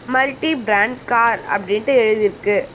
Multi brand car அப்படின்ட்டு எழுதி இருக்கு.